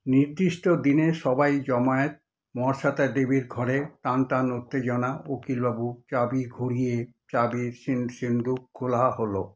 নির্দিষ্ট দিনে সবাই জমায়েত মহাশ্বেতা দেবীর ঘরে, টানটান উত্তেজনা, উকিলবাবু চাবি ঘুরিয়ে চাবির সিন্ধুক খোলা হলো।